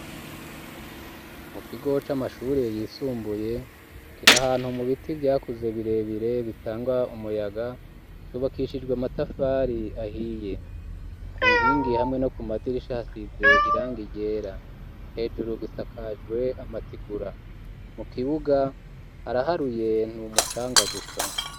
Mu kigo c'amashure yisumbuye kirahantu mu biti vyakuze birebire bitanga umuyaga cubakishijwe amatafari ahiye ku nkingi hamwe no ku madirisha hasize irangi ryera hejuru gisakajwe amatigura mu kibuga haraharuye n'umucanga gusa